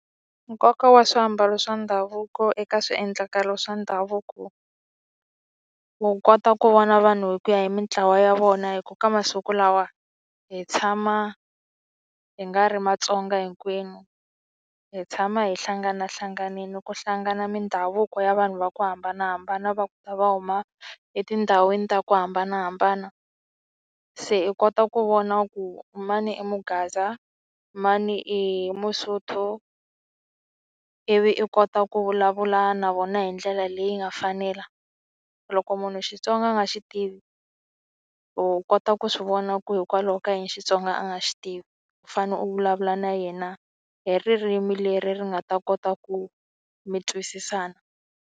Nkoka wa swiambalo swa ndhavuko eka swiendlakalo swa ndhavuko u kota ku vona vanhu hi ku ya hi mintlawa ya vona hi ku ka masiku lawa hi tshama hi nga ri Matsonga hinkwenu hi tshama hi hlanganahlanganile ku hlangana mindhavuko ya vanhu va ku hambanahambana va ta va huma etindhawini ta ku hambanahambana se i kota ku vona ku mani i mugaza mani i masotho ivi i kota ku vulavula na vona hi ndlela leyi nga fanela. Loko munhu Xitsonga a nga xi tivi or u kota ku swi vona ku hikwalaho ka yini Xitsonga a nga xi tivi u fanele u vulavula na yena hi ririmi leri ri nga ta kota ku mi twisisana.